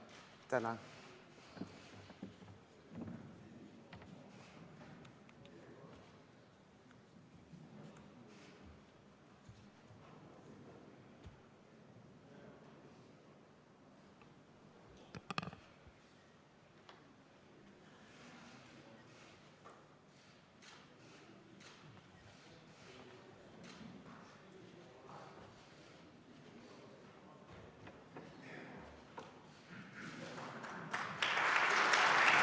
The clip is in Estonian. Tänan!